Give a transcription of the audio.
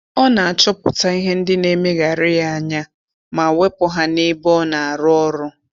Ọ na-achọpụta ihe ndị na-emegharị ya anya ma wepụ ha n'ebe ọ na-arụ ọrụ